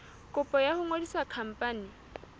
kopo ya ho ngodisa khampani